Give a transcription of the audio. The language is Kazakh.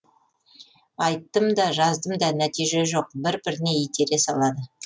айттым да жаздым да нәтиже жоқ бір біріне итере салады